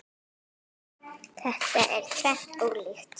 Þetta er tvennt ólíkt.